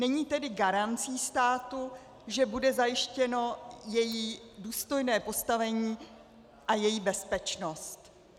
Není tedy garancí státu, že bude zajištěno její důstojné postavení a její bezpečnost.